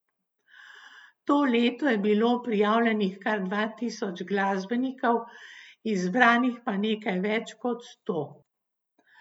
To leto je bilo prijavljenih kar dva tisoč glasbenikov, izbranih pa nekaj več kot sto.